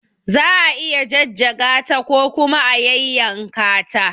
Za a iya jajjaga ta ko kuma a yayyanka ta.